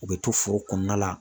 U be to foro kɔnɔna la